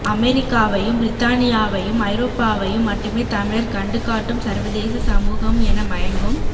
அமெரிக்காவையும் பிரித்தானியாவையும் ஐரோப்பாவையும் மட்டுமே தமிழர் கண்டு காட்டும் சர்வதேச சமூகம் என மயங்கும்